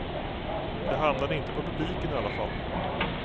Det hamnade inte på publiken i alla fall.